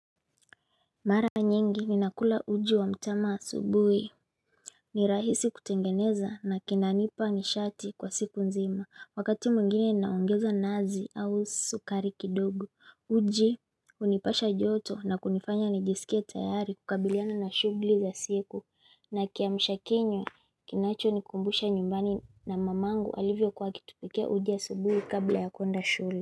Mara nyingi ninakula uji wa mtama asubui ni rahisi kutengeneza na kinanipa nishati kwa siku nzima wakati mwingine naongeza nazi au sukari kidogo uji unipasha joto na kunifanya nijisikie tayari kukabiliana na shughuli za siku na kiamsha kinywa kinacho nikumbusha nyumbani na mamangu alivyo kwa kitupikia uji ya asubui kabla ya kwenda shule.